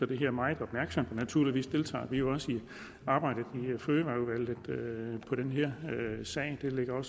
det her meget opmærksomt naturligvis deltager vi også i arbejdet i fødevareudvalget i den her sag det ligger